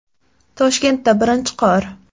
Toshkentda birinchi qor .